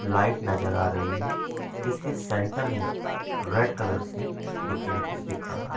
light नजर आ रही है जिसके सेंटर में रेड कलर्स है जोकि मुझे दिख रहा--